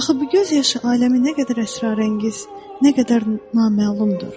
Axı bu göz yaşı aləmi nə qədər əsrarəngiz, nə qədər naməlumdur?